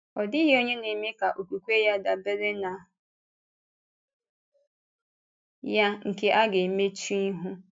“Ọ̀ dịghị onye na-eme ka okwukwe ya dabere na ya nke a ga-emechụ ihu.”